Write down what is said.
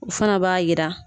O fana b'a jira